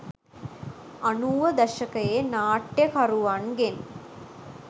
අනූව දශකයේ නාට්‍යකරුවන්ගෙන්